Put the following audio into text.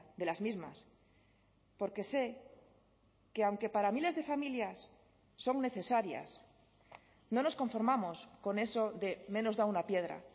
de las mismas porque sé que aunque para miles de familias son necesarias no nos conformamos con eso de menos da una piedra